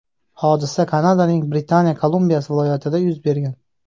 Hodisa Kanadaning Britaniya Kolumbiyasi viloyatida yuz bergan.